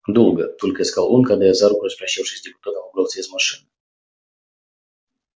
долго только и сказал он когда я за руку распрощавшись с депутатом выбрался из машины